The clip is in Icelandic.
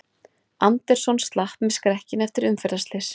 Anderson slapp með skrekkinn eftir umferðarslys